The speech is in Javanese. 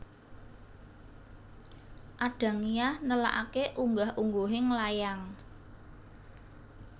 Adangiyah nelakake unggah ungguhing layang